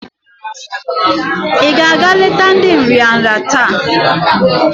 I ga-aga leta ndi nrịanrị taa?